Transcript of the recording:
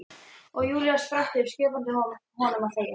Og Júlía spratt upp, skipaði honum að þegja.